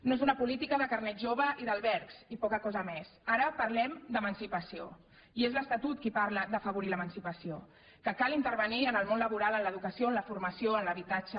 no és una política de carnet jove i d’albergs i poca cosa més ara parlem d’emancipació i és l’estatut que parla d’afavorir l’emancipació que cal intervenir en el món laboral en l’educació en la formació en l’habitatge